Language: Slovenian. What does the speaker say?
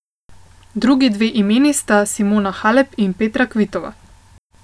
Drugi dve imeni sta Simona Halep in Petra Kvitova.